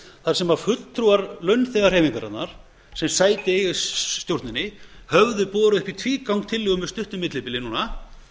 þar sem fulltrúar launþegahreyfingarinnar sem sæti eiga í stjórninni höfðu borist í tvígang tillögu með stuttu millibili núna